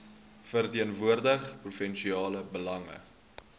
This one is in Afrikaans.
verteenwoordig provinsiale belange